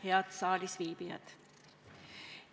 Head saalis viibijad!